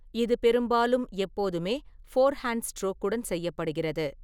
இது பெரும்பாலும் எப்போதுமே ஃபோர்ஹேண்ட் ஸ்ட்ரோக்குடன் செய்யப்படுகிறது.